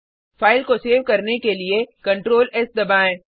file को save करने के लिए Ctrl एस दबाएँ